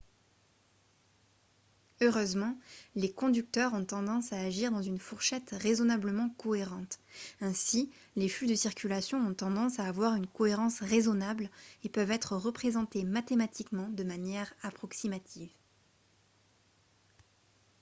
heureusement les conducteurs ont tendance à agir dans une fourchette raisonnablement cohérente ainsi les flux de circulation ont tendance à avoir une cohérence raisonnable et peuvent être représentés mathématiquement de manière approximative